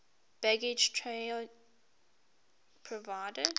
baggage train provided